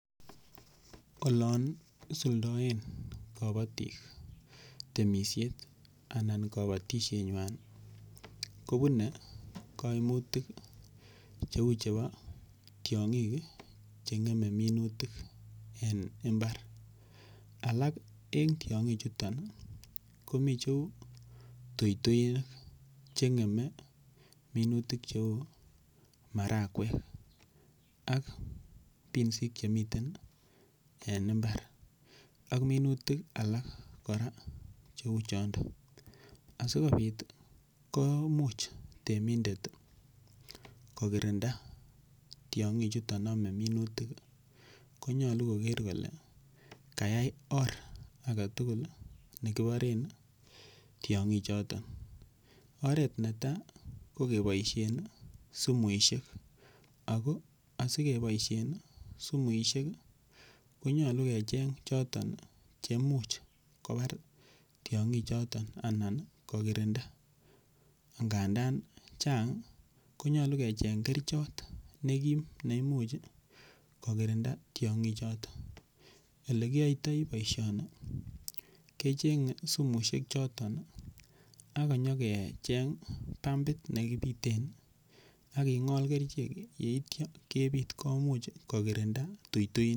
Olon isuldaen kabatik temishet anan kabatishenywai kobunei kaimutik cheu chebo tiong'ik cheng'emei minutik en imbar alak en tiong'ichuton komi cheu tuituik cheng'emei minutik cheu marakwek ak pinsik chemiten en imbar ak minutik alak kora cheu chonto asikobit komuch temindet kokirinda tiong'ichuton omei minutik konyolu koker kole kayai or agetugul nekiporen tiong'ichuton oret netai ko keboishen sumuishek ako asikeboishen sumuishek konyolu kecheng' choto che imuuch kobar tiong'ichoton anan kokirinda nganda chang' konyolu kecheng' kerichot nekim neimuch kokirinda tiong'ichoton ole kiyoitoi boishoni kecheng'e sumuishek choton akonyikecheng' pumbit nekipiten aking'ol kerichek yeityo kebit komuch kokirinda tuituinik